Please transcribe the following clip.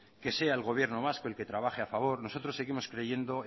que sea el gobierno vasco el que trabaje a favor nosotros seguimos creyendo